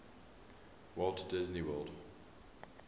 walt disney world